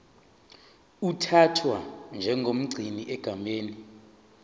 uthathwa njengomgcini egameni